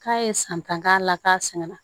K'a ye san tan k'a la k'a sɛgɛnna